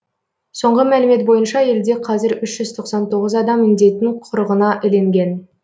соңғы мәлімет бойынша елде қазір үш жүз тоқсан тоғыз адам індеттің құрығына ілінген